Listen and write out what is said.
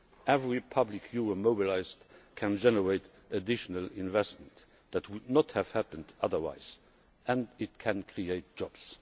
Every public euro mobilised can generate additional investment that would not have happened otherwise, and it can create jobs.